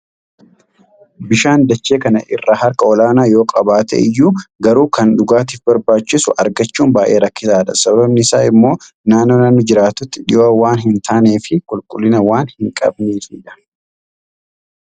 Bishaan dachee kana irraa harka olaanaa yoo qabaate iyyuu, garuu kan dhugaatiif barbaachisu argachuun baay'ee rakkisaadha. Sababni isaa immoo, naannoo namni jiraatutti dhihoo waan hin taanee fi qulqullina waan hin qabneefidha.